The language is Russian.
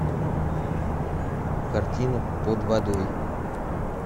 картина под водой